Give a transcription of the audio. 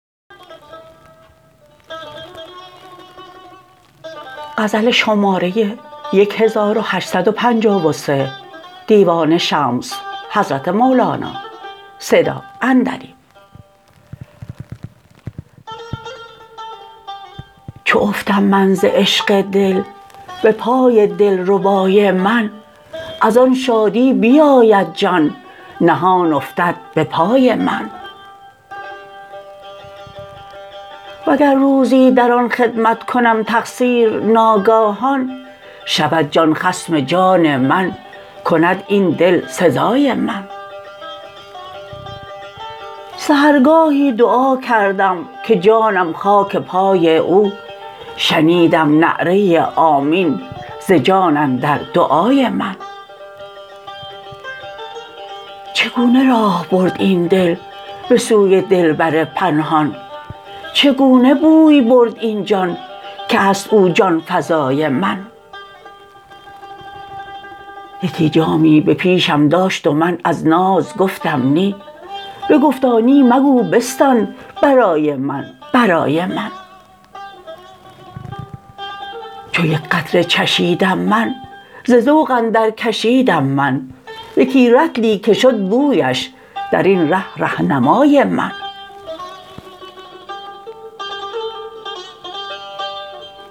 چو افتم من ز عشق دل به پای دلربای من از آن شادی بیاید جان نهان افتد به پای من وگر روزی در آن خدمت کنم تقصیر ناگاهان شود جان خصم جان من کند این دل سزای من سحرگاهی دعا کردم که جانم خاک پای او شنیدم نعره آمین ز جان اندر دعای من چگونه راه برد این دل به سوی دلبر پنهان چگونه بوی برد این جان که هست او جان فزای من یکی جامی به پیشم داشت و من از ناز گفتم نی بگفتا نی مگو بستان برای من برای من چو یک قطره چشیدم من ز ذوق اندرکشیدم من یکی رطلی که شد بویش در این ره رهنمای من